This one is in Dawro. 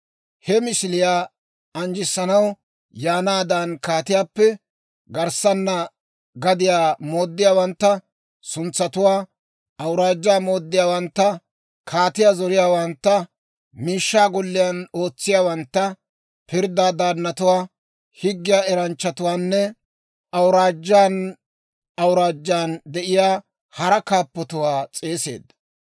He misiliyaa anjjissanaw yaanaadan, kaatiyaappe garssana gadiyaa mooddiyaawantta, suntsatuwaa, awuraajjaa mooddiyaawantta, kaatiyaa zoriyaawantta, miishshaa golliyaan ootsiyaawantta, pirddaa daannatuwaa, higge eranchchatuwaanne awuraajjaan awuraajjaan de'iyaa hara kaappotuwaa s'eegeedda.